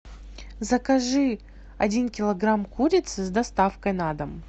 закажи один килограмм курицы с доставкой на дом